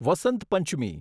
Vasant Panchami